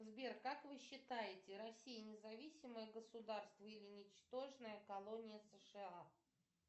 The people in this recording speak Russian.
сбер как вы считаете россия независимое государство или ничтожная колония сша